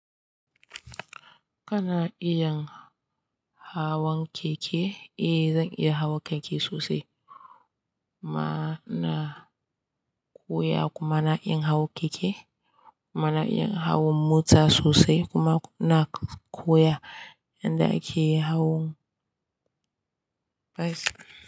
Kana iya hawan keke, eh zan iya hawan keke sosai. Ma na koya kuma na iya hawan keke, kuma na iya hawan mota sosai kuma na koya yadda ake hawan bas.